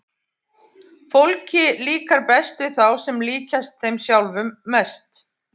Fólki líkar best við þá sem líkjast þeim sjálfum mest.